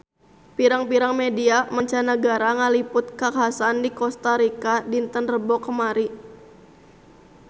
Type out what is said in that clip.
Pirang-pirang media mancanagara ngaliput kakhasan di Kosta Rika dinten Rebo kamari